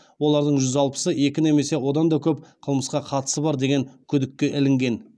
олардың жүз алпысы екі немесе одан да көп қылмысқа қатысы бар деген күдікке ілінген